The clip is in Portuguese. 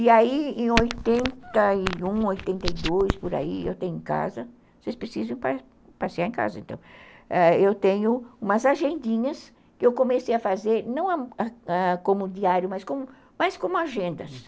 E aí, em oitenta e um, oitenta e dois, por aí, eu tenho em casa, vocês precisam passear em casa, então, eu tenho umas agendinhas que eu comecei a fazer não como diário, mas como agendas, uhum.